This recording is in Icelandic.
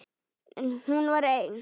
En hún var ein.